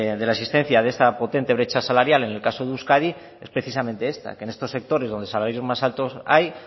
de la insistencia de esa potente brecha salarial en el caso de euskadi es precisamente esta que en estos sectores donde el salario más alto hay